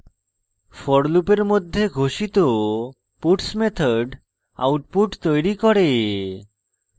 for লুপের মধ্যে ঘোষিত puts method output তৈরী করে